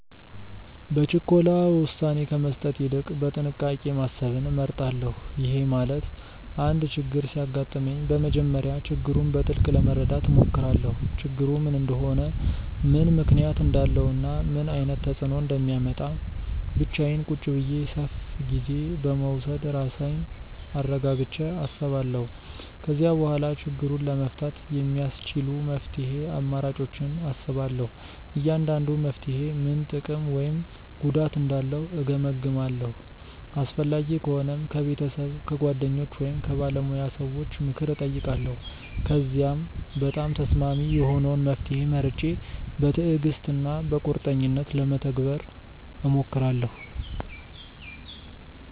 በችኮላ ውሳኔ ከመስጠት ይልቅ በጥንቃቄ ማሰብን እመርጣለሁ። ይሄ ማለት አንድ ችግር ሲያጋጥመኝ በመጀመሪያ ችግሩን በጥልቅ ለመረዳት እሞክራለሁ። ችግሩ ምን እንደሆነ፣ ምን ምክንያት እንዳለው እና ምን ዓይነት ተፅእኖ እንደሚያመጣ ብቻዬን ቁጭ ብዬ ሰፍ ጊዜ በመዉሰድ ራሴን አረጋግቸ አስባለው። ከዚያ በኋላ ችግሩን ለመፍታት የሚያስቺሉ መፍትሄ አማራጮችን አስባለሁ። እያንዳንዱ መፍትሔ ምን ጥቅም ወይም ጉዳት እንዳለው እገምግማለሁ። አስፈላጊ ከሆነም ከቤተሰብ፣ ከጓደኞች ወይም ከባለሙያ ሰዎች ምክር እጠይቃለሁ። ከዚያም በጣም ተስማሚ የሆነውን መፍትሔ መርጬ በትዕግሥት እና በቁርጠኝነት ለመተግበር እሞክራለሁ።